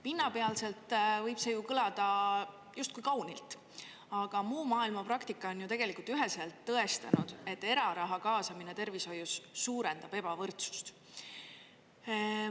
Pinnapealselt võib see ju kõlada kaunilt, aga muu maailma praktika on tegelikult üheselt tõestanud, et eraraha kaasamine tervishoidu suurendab ebavõrdsust.